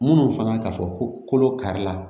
Munnu fana ka fɔ ko kolo kari la